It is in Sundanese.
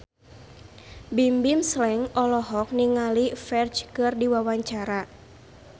Bimbim Slank olohok ningali Ferdge keur diwawancara